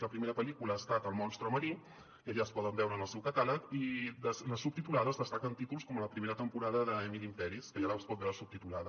la primera pel·lícula ha estat el monstre marí que ja es pot veure en el seu catàleg i en les subtitulades destaquen títols com la primera temporada de mil imperis que ja es pot veure subtitulada